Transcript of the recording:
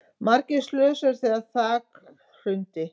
Margir slösuðust þegar þak hrundi